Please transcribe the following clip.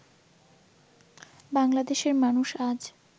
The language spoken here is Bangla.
বাংলাদেশের মানুষ আজ